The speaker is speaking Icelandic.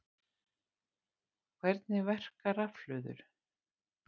Hvernig verka rafhlöður?